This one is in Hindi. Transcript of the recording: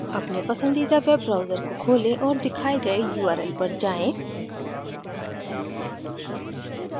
अपने पसंदीदा web browser को खोलें और दिखाए गए url पर जाएँ